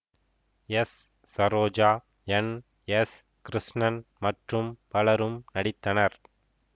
S Saroja N S Krishnan மற்றும் பலரும் நடித்தனர்